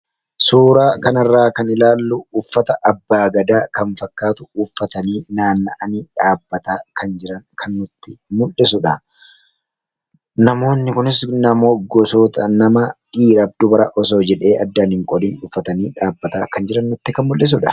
suuraa kanarraa kan ilaallu uffata abbaa gadaa kan fakkaatu uffatanii naanna'anii dhaabbataa kan jiran kannutti mul'isudha namoonni kunis namoo gosoota nama dhiirafdubara osoo jedhee addaan hin qolin uffatanii dhaabbataa kan jirannutti kan mul'isudha